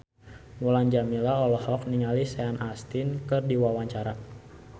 Mulan Jameela olohok ningali Sean Astin keur diwawancara